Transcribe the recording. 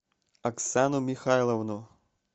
оксану михайловну